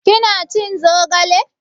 Kina cin zogale?